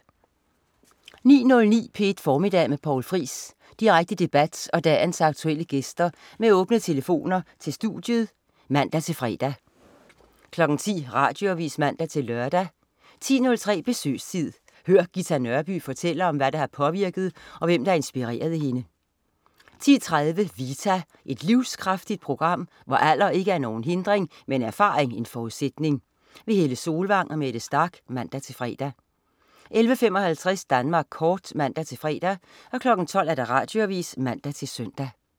09.09 P1 Formiddag med Poul Friis. Direkte debat og dagens aktuelle gæster med åbne telefoner til studiet (man-fre) 10.00 Radioavis (man-lør) 10.03 Besøgstid. Hør Ghita Nørby fortælle om hvad der har påvirket og hvem, der inspirerede hende 11.30 Vita. Et livskraftigt program, hvor alder ikke er nogen hindring, men erfaring en forudsætning. Helle Solvang og Mette Starch (man-fre) 11.55 Danmark Kort (man-fre) 12.00 Radioavis (man-søn)